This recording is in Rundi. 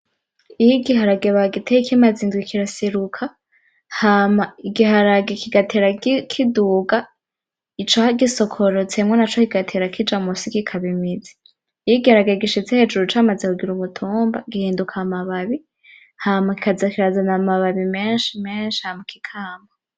Iyo igiharage bagiteye kimaze indwi kiraseruka, hama igiharage kigatera kiduga, icagisokorotsemwo naco kigatera kija misi kikaba imizi. iyo igiharage gishitse hejuru camaze kugira umutumba gihinduka amababi, hama kikazana amababi menshi menshi hama kikama.